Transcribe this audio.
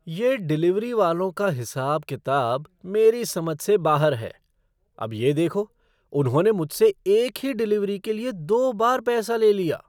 ये डिलीवरी वालों का हिसाब किताब मेरी समझ से बाहर है। अब ये देखो, उन्होंने मुझसे एक ही डिलीवरी के लिए दो बार पैसा ले लिया।